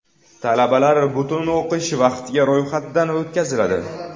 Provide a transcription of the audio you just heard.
Talabalar butun o‘qish vaqtiga ro‘yxatdan o‘tkaziladi.